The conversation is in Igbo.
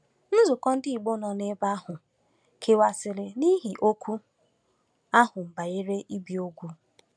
Nzukọ ndị Igbo nọ n’ebe ahụ kewasịrị n’ihi okwu ahụ banyere ibi úgwù.